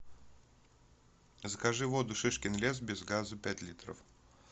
закажи воду шишкин лес без газа пять литров